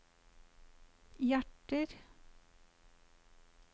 hjerter